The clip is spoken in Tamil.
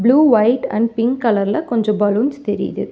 Blue white and pink colour ல கொஞ்சோ பலூன்ஸ் தெரியுது.